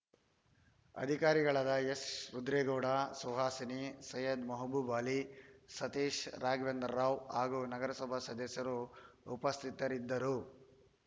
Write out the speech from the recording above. ಅಧಿಕಾರಿಗಳಾದ ಎಸ್‌ ರುದ್ರೇಗೌಡ ಸುಹಾಸಿನಿ ಸೈಯದ್‌ ಮೆಹಬೂಬ್‌ ಆಲಿ ಸತೀಶ್‌ ರಾಘವೇಂದ್ರರಾವ್‌ ಹಾಗೂ ನಗರಸಭಾ ಸದಸ್ಯರು ಉಪಸ್ಥಿತರಿದ್ದರು